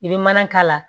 I bɛ mana k'a la